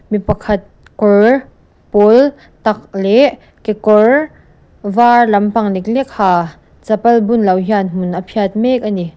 mi pakhat kawr pawltak leh kekawr var lampang leklek ha chapal bunlo hian hmun a phiat mek a ni.